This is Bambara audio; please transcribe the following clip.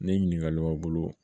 Ni ɲininkali b'aw bolo